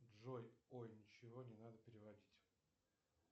джой ой ничего не надо переводить